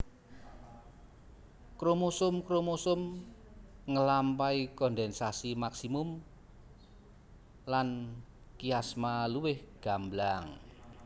Kromosom kromosom ngelampahi kondensasi maksimum lan kiasma luwih gamblang